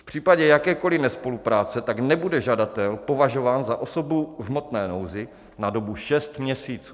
V případě jakékoli nespolupráce tak nebude žadatel považován za osobu v hmotné nouzi na dobu šest měsíců.